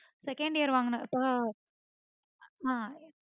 second year வாங்குனப்ப ஆஹ்